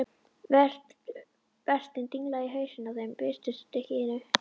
Vertinn danglaði í hausinn á þeim með viskustykkinu.